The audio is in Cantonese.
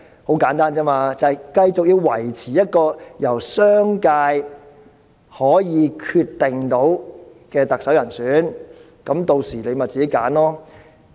很簡單，就是要維持可由商界決定特首候選人，屆時他們便自己選擇。